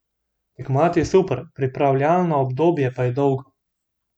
Tekmovati je super, pripravljalno obdobje pa je dolgo.